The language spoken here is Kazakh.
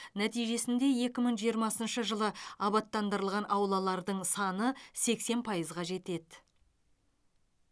нәтижесінде екі мың жиырмасыншы жылы абаттандырылған аулалардың саны сексен пайызға жетеді